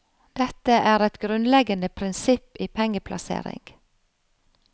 Dette er et grunnleggende prinsipp i pengeplassering.